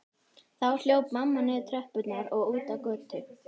Þá hljóp mamma niður tröppurnar og út á götu.